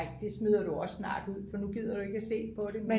ej det smider du også snart ud for nu gider du ikke se på det